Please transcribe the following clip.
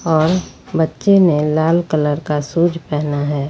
और बच्चे ने लाल कलर का शूज पहना है।